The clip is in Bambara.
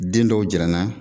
Den dɔw jira n na.